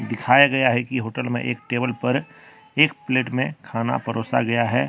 दिखाया गया है कि होटल में एक टेबल पर एक प्लेट में खाना परोसा गया है।